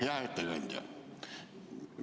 Hea ettekandja!